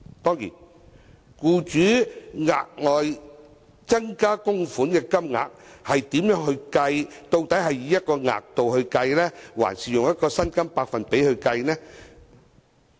當然，應如何計算僱主額外增加供款的金額，究竟是以一個額度計算，還是以薪金百分比計算呢？